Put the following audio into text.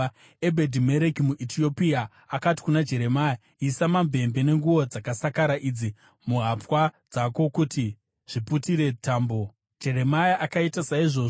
Ebhedhi-Mereki muEtiopia akati kuna Jeremia, “Isa mamvemve nenguo dzakasakara idzi muhapwa dzako kuti zviputire tambo.” Jeremia akaita saizvozvo,